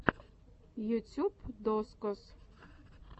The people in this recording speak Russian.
ютюб дозкоз